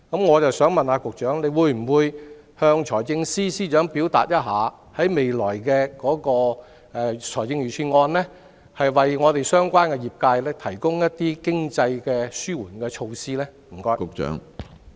我想問局長，會否要求財政司司長在未來的財政預算案中，為相關業界提供一些經濟紓緩措施？